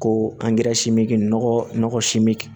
Ko